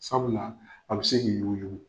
Sabula, a be se k'i'yuguyugu.